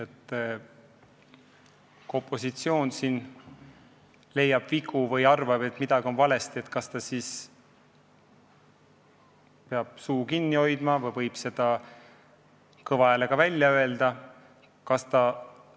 Kui opositsioon leiab vigu ja arvab, et midagi on valesti, kas ta peab siis suu kinni hoidma või võib seda kõva häälega välja öelda?